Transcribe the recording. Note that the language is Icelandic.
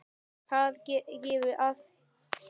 Þar gefur að líta